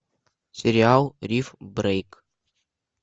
сериал риф брейк